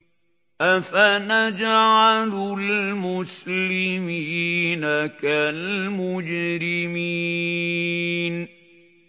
أَفَنَجْعَلُ الْمُسْلِمِينَ كَالْمُجْرِمِينَ